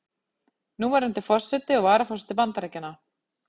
Núverandi forseti og varaforseti Bandaríkjanna.